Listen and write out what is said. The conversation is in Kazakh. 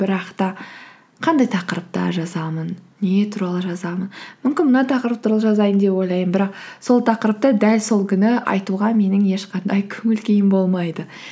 бірақ та қандай тықырыпта жазамын не туралы жазамын мүмкін мына тақырып туралы жазайын деп ойлаймын бірақ сол тақырыпты дәл сол күні айтуға менің ешқандай көңіл күйім болмайды